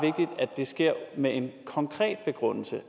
det sker med en konkret begrundelse